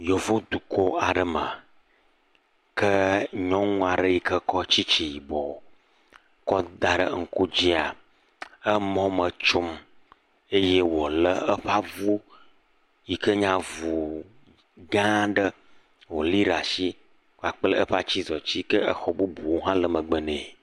Yevodukɔ ɖe mea, ke nyɔŋua ɖe yi ke kɔ tsitsi ko kɔ da ɖe ŋku dzia, emɔ me tsom eye wolé eƒe avu yi ke nye avu gã aɖe, woli ɖa si kpakple eƒe atsizɔtsi yi ke exɔ bubuwo hã le megbe nɛ.